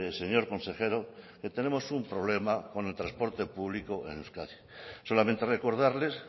señor consejero que tenemos un problema con el transporte público en euskadi solamente recordarles